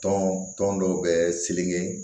Tɔn tɔn dɔ bɛ selen